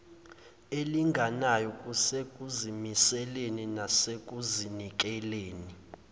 elilinganayo kusekuzimiseleni nasekuzinikeleni